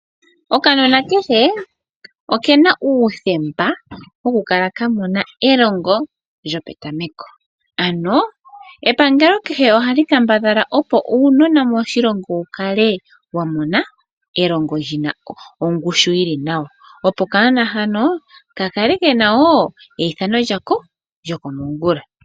Okanona kehe okena uuthemba woku kala ka mona elongo lyopetameko. Ano epangelo kehe ohali kambadhala opo uunona moshilongo wukale wamona elongo lyina ongushu yili nawa. Opo okanona hano ka kale kena woo eyithano lyako lyokomongula.